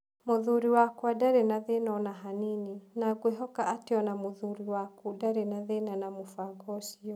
Mũthuri wakwa ndarĩ na thĩna o na hanini, na ngwĩhoka atĩ o na mũthuri waku ndarĩ na thĩna na mũbango ũcio.